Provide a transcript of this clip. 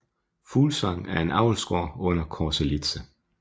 Fuglsang er en avlsgård under Corselitze